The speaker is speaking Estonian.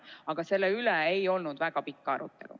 Aga selle üle ei olnud väga pikka arutelu.